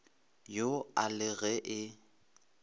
yo a le ge e